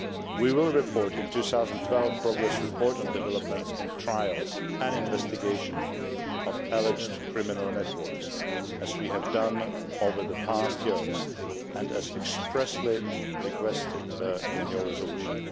We will report in the 2012 Progress Reports on developments in trials and in investigations of alleged criminal networks, as we have done over the past years and as expressly requested in your resolution.